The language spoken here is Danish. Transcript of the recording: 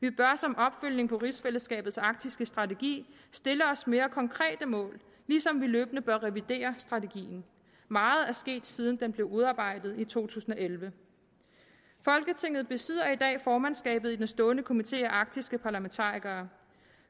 vi bør som opfølgning på rigsfællesskabs arktiske strategi stille os mere konkrete mål ligesom vi løbende bør revidere strategien meget er sket siden den blev udarbejdet i to tusind og elleve folketinget besidder i dag formandskabet i den stående komité af arktiske parlamentarikere